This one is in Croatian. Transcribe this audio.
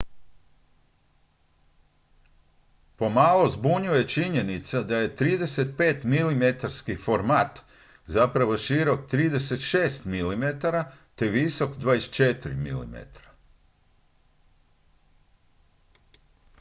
pomalo zbunjuje činjenica da je 35-milimetarski format zapravo širok 36 mm te visok 24 mm